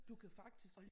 Du kan faktisk